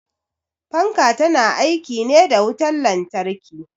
Fanka ta na aiki ne da wutar lantarki.